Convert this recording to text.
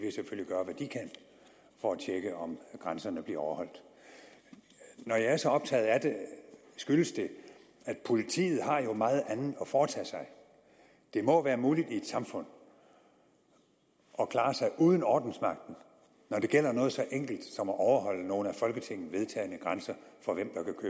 for at tjekke om grænserne bliver overholdt når jeg er så optaget af det skyldes det at politiet jo har meget andet at foretage sig det må være muligt i et samfund at klare sig uden ordensmagten når det gælder noget så enkelt som at overholde nogle af folketinget vedtagne grænser for